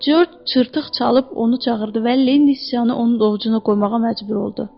George çırtıq çalıb onu çağırdı və Linni sıçanı onun ovucuna qoymağa məcbur oldu.